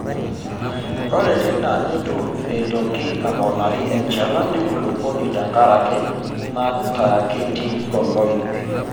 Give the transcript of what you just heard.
Ore teina neitu eitoki aponari enchalan enkulupuoni tenkaraki nataakiti olaip.